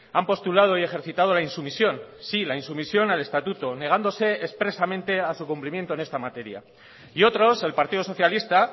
han postulado y ejercitado la insumisión sí la insumisión al estatuto negándose expresamente a su cumplimiento en esta materia y otros el partido socialista